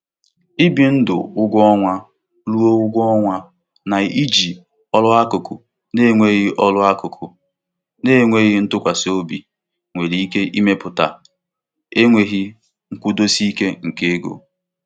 Ibi ndụ ụgwọ ọnwa ruo ụgwọ ọnwa na-iji ọrụ akụkụ na-enweghị ọrụ akụkụ na-enweghị ntụkwasị obi nwere ike ịmepụta enweghị nkwụdosi ike nke ego.